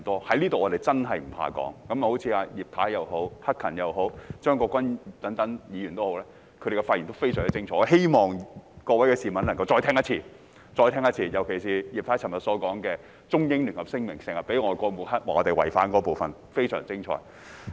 在這裏我們真的不怕說，正如葉太、陳克勤議員、張國鈞議員等，他們的發言都非常精彩，我希望各位市民能夠再聽一次，尤其是葉太昨天提到外國經常抹黑，指我們違反《中英聯合聲明》，那個部分她說得非常精彩。